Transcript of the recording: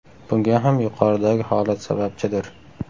Bunga ham yuqoridagi holat sababchidir.